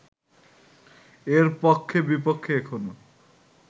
এর পক্ষে বিপক্ষে এখনও